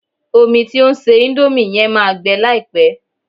Omi tí o ń se índómì yẹn máa gbẹ láìpẹ́